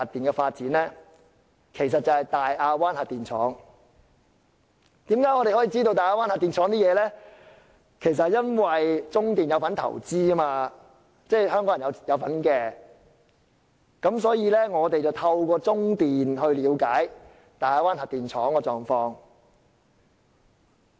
我們能夠得知大亞灣核電廠情況的原因，是中華電力有限公司是投資者之一，亦即香港人有份投資，所以便可透過中電了解大亞灣核電廠的狀況。